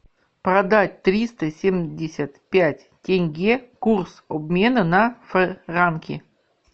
продать триста семьдесят пять тенге курс обмена на франки